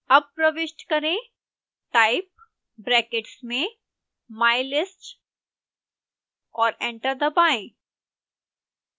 अब प्रविष्ट करें type brackets में mylist और एंटर दबाएं